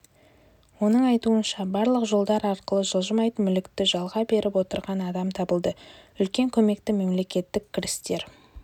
оның айтуынша барлық жолдар арқылы жылжымайтын мүлікті жалға беріп отырған адам табылды үлкен көмекті мемлекеттік кірістер